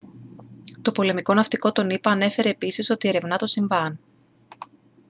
το πολεμικό ναυτικό των ηπα ανέφερε επίσης ότι ερευνά το συμβάν